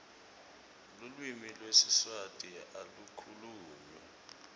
lulwimi lwesiswati alu khulunywa